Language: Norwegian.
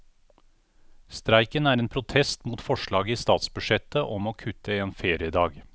Streiken er en protest mot forslaget i statsbudsjettet om å kutte en feriedag.